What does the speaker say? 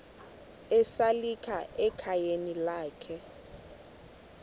esalika ekhayeni lakhe